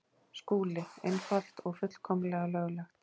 SKÚLI: Einfalt og fullkomlega löglegt.